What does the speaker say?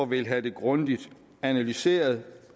vil have det grundigt analyseret